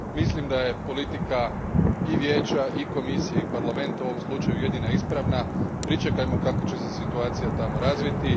Mislim da je politika i Vijeća i Komisije i Parlamenta u ovom slučaju jedina ispravna. Pričekajmo kako će se situacija tamo razviti.